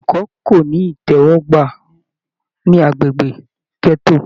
Ìmọ ẹ̀kọ́ ko ní itẹwọgbà ní agbègbè gẹto.